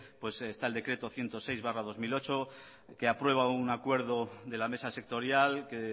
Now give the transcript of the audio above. está el decreto ciento seis barra dos mil ocho que aprueba un acuerdo de la mesa sectorial que